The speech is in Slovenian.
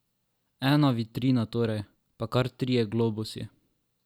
Ena vitrina torej, pa kar trije globusi.